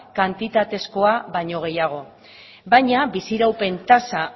kantitatezkoa baino gehiago baina bizi iraupen tasa